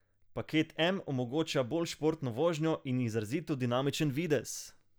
Paket M omogoča bolj športno vožnjo in izrazito dinamičen videz.